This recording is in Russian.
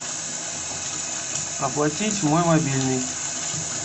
оплатить мой мобильный